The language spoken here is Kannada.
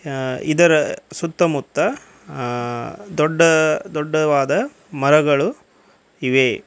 ಆ ಇದರ ಸುತ್ತಮುತ್ತ ಅ ದೊಡ್ಡ ದೊಡ್ಡವಾದ ಮರಗಳು ಇವೆ.